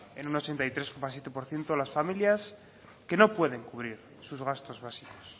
en un ochenta y tres coma siete por ciento las familias que no pueden cubrir sus gastos básicos